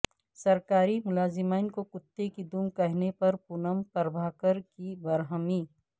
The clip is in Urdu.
سرکاری ملازمین کو کتے کی دم کہنے پر پونم پربھاکر کی برہمی